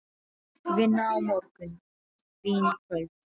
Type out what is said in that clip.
Vinna á morgun, vín í kvöld.